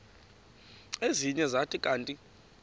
ezinye zathi kanti